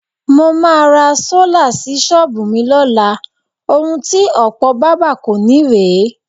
Mo máa ra sólà sí s̩ó̩ò̩bù mi ló̩la. Ohun ti ò̩pò̩ bábà kò ní rè é.